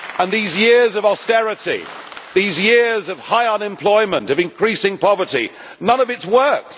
These years of austerity, these years of high unemployment, of increasing poverty none of it has worked.